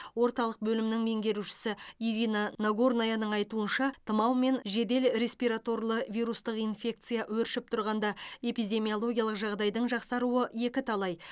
орталық бөлімінің меңгерушісі ирина нагорнаяның айтуынша тұмау мен жедел респираторлы вирустық инфекция өршіп тұрғанда эпидемиологиялық жағдайдың жақсаруы екіталай